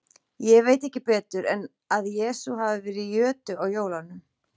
Ég veit ekki betur en að Jesús hafi verið í jötu á jólunum.